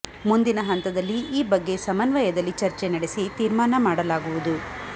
ಮುಂದಿನ ಹಂತದಲ್ಲಿ ಈ ಬಗ್ಗೆ ಸಮನ್ವಯದಲ್ಲಿ ಚರ್ಚೆ ನಡೆಸಿ ತೀರ್ಮಾನ ಮಾಡಲಾಗುವುದು